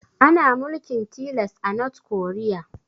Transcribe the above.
Ana mulkin tilas a north korea